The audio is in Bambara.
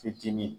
Fitinin